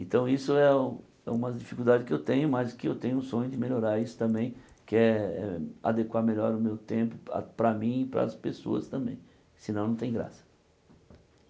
Então isso é é uma dificuldade que eu tenho, mas que eu tenho o sonho de melhorar isso também, que é adequar melhor o meu tempo pa para mim e para as pessoas também, senão não tem graça.